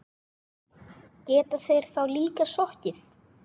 Geta þeir þá líka sokkið.